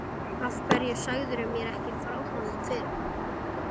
Af hverju sagðirðu mér ekki frá honum fyrr?